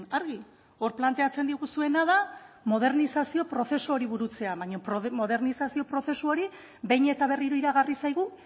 argi hor planteatzen diguzuena da modernizazio prozesu hori burutzea baina modernizazio prozesu hori behin eta berriro iragarri zaigu